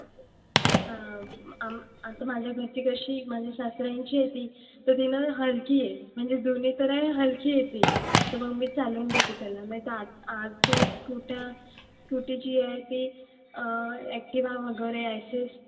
अं आम आता माझ्या घरची कशी माझ्या सारऱ्यांची आहे ती. तर ती ना हलकी आहे, म्हणजे जुनी पण आहे हलकी आहे ती. तर मग मी चालवून घेते त्याला. नाहीतर आज आजच्या scooty, scooter जी आहे ती activa वगैरे access